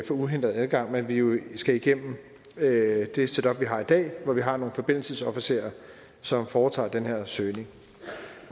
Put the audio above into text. uhindret adgang men at vi jo skal igennem det det setup vi har i dag hvor vi har nogle forbindelsesofficerer som foretager den her søgning